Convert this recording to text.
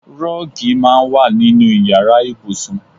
Rọ́ọ́gì máa ń wà nínú ìyára ibùsùn.